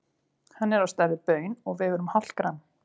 Hann er á stærð við baun og vegur um hálft gramm.